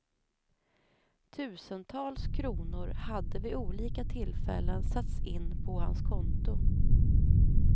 Tusentals kronor hade vid olika tillfällen satts in på hans konto.